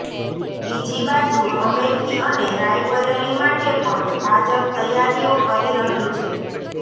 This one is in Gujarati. બીજી બાજુ અમેઠી અને રાયબરેલી માટે પણ ભાજપ તૈયારીઓ કરી રહ્યું છે